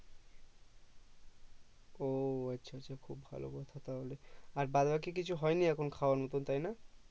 ও আচ্ছা আচ্ছা খুব ভালো কথা তাহলে আর বাদ বাকি কিছু হয়নি এখন খাওয়ার মতন তাই না